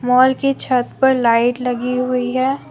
Hall के छत पर लाइट लगी हुई है।